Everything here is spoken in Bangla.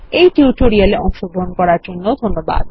এই টিউটোরিয়াল এ অংশগ্রহনকরার জন্যধন্যবাদ